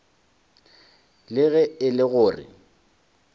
le ge e le gore